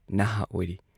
ꯅꯍꯥꯥꯥ ꯑꯣꯏꯔꯤ ꯫